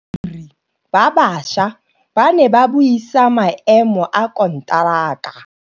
Badiri ba baša ba ne ba buisa maêmô a konteraka.